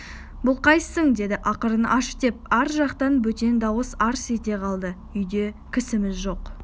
бұл қайсың деді ақырын аш деп ар жақтан бөтен дауыс арс ете қалды үйде кісіміз жоқ